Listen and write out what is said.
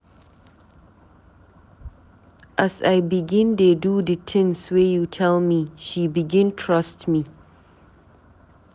As I begin dey do di tins wey you tell me, she begin trust me.